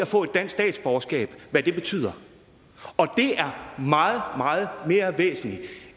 få et dansk statsborgerskab betyder og det er meget meget mere væsentligt